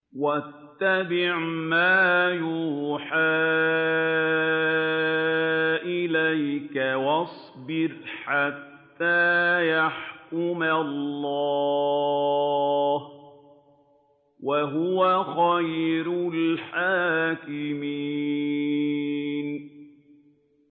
وَاتَّبِعْ مَا يُوحَىٰ إِلَيْكَ وَاصْبِرْ حَتَّىٰ يَحْكُمَ اللَّهُ ۚ وَهُوَ خَيْرُ الْحَاكِمِينَ